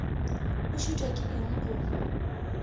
o šitwa ke eng go